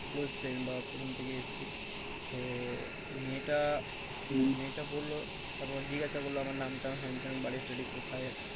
Close friend বা প্রথম থেকে এসছি। তো মেয়েটা, মেয়েটা বললো তারপর জিজ্ঞাসা করলো আমার নাম টাম হ্যান ত্যান বাড়ি টাড়ি কোথায়?